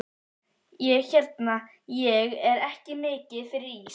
Ég hérna. ég er ekki mikið fyrir ís.